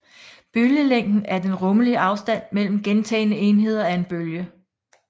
Bølgelængden er den rummelige afstand mellem gentagne enheder af en bølge